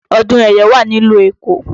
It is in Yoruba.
Ọdún ẹ̀yọ̀ wà ní ìlú Èkó